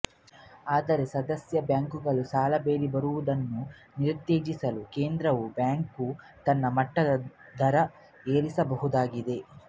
ಆದರೆ ಸದಸ್ಯ ಬ್ಯಾಂಕುಗಳು ಸಾಲ ಬೇಡಿ ಬರುವುದನ್ನು ನಿರುತ್ತೇಜಿಸಲು ಕೇಂದ್ರೀಯ ಬ್ಯಾಂಕು ತನ್ನ ವಟ್ಟದ ದರ ಏರಿಸಬಹುದಾಗಿದೆ